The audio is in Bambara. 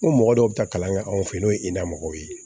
N ko mɔgɔ dɔw bɛ taa kalan kɛ anw fɛ n'o ye i n'a mɔgɔw ye